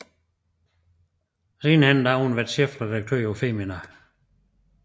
Siden har hun været chefredaktør for Femina